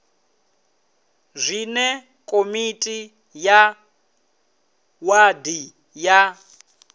zwine komiti ya wadi ya